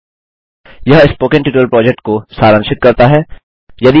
httpspoken tutorialorgWhat is a Spoken Tutorial यह spoken tutorial project को सारांशित करता है